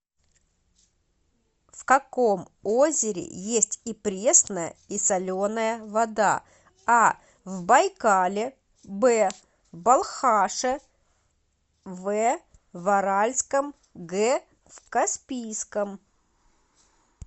в каком озере есть и пресная и соленая вода а в байкале б в балхаше в в аральском г в каспийском